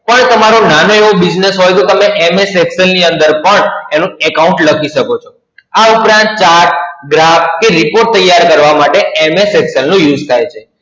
પણ તમારો નાનો એવો Business હોય તો તમે MS Excel ની અંદર પણ એનું Account લખી શકો છો. આ ઉપરાંત Chart, Graph કે Report તૈયાર કરવા માટે MS Excel નો use થાય છે.